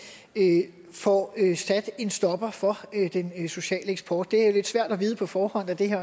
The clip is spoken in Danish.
får sat en stopper for den sociale eksport det er jo lidt svært at vide på forhånd da det her